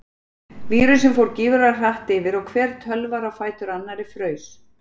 Vírusinn fór gífurlega hratt yfir og hver tölvar á fætur annari fraus.